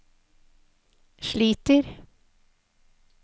sliter